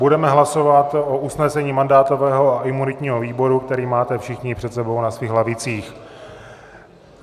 Budeme hlasovat o usnesení mandátového a imunitního výboru, které máte všichni před sebou na svých lavicích.